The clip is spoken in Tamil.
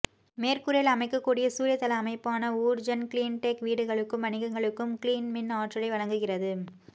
மேற்கூரையில் அமைக்கக்கூடிய சூரிய தள அமைப்பான ஊர்ஜன் க்ளீன்டெக் வீடுகளுக்கும் வணிகங்களுக்கும் க்ளீன் மின் ஆற்றலை வழங்குகிறது